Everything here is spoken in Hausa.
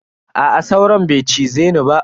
Aa sauron bai cize ni ba.